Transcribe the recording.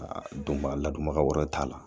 Aa don ba la ladonbaga wɛrɛ t'a la